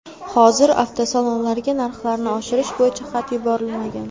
Hozir avtosalonlarga narxlarni oshirish bo‘yicha xat yuborilmagan.